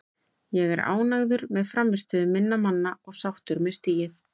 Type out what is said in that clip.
Ég er ánægður með frammistöðu minna manna og sáttur með stigið.